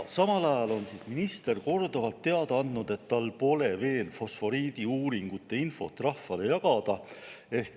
Samal ajal on minister korduvalt teada andnud, et tal pole veel fosforiidiuuringute infot rahvale jagada.